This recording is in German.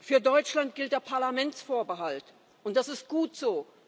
Für Deutschland gilt der Parlamentsvorbehalt, und das ist gut so.